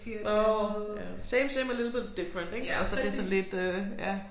Åh same same a little bit different ik altså det sådan lidt øh ja